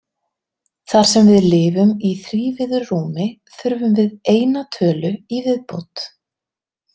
Þar sem við lifum í þrívíðu rúmi þurfum við eina tölu í viðbót.